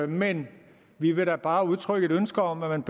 men vi vil da bare udtrykke et ønske om at man